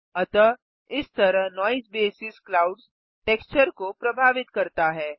अतः इस तरह नॉइज़ बेसिस क्लाउड्स टेक्सचर को प्रभावित करता है